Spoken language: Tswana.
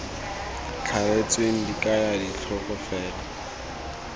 thaletsweng di kaya ditlhogo fela